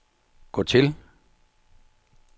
gå til